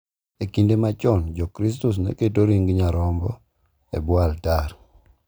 E kinde machon, Jokristo ne keto ring’o nyarombo e bwo altar,